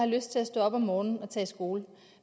lyst til at stå op om morgenen og tage i skole